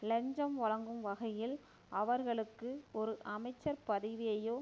இலஞ்சம் வழங்கும் வகையில் அவர்களுக்கு ஒரு அமைச்சர் பதவியையோ